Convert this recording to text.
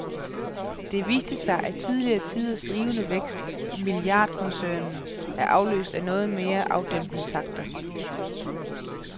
Det viste sig, at tidligere tiders rivende vækst i milliardkoncernen er afløst af noget mere afdæmpede takter.